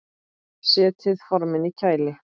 Setjið formin í kæli.